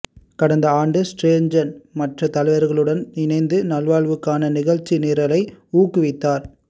கடந்த ஆண்டு ஸ்ரேர்ஜன் மற்ற தலைவர்களுடன் இணைந்து நல்வாழ்வுக்கான நிகழ்ச்சிநிரலை ஊக்குவித்தார்